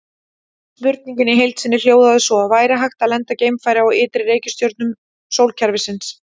Spurningin í heild sinni hljóðaði svo: Væri hægt að lenda geimfari á ytri reikistjörnum sólkerfisins?